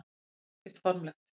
Það kom ekkert formlegt.